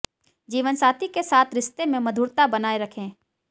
जीवनसाथी के साथ रिश्ते में मधुरता बनाएं रखें